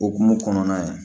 Okumu kɔnɔna yen